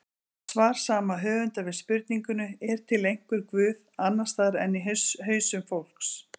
Svar sama höfundar við spurningunni Er til einhver guð, annars staðar en í hausum fólks?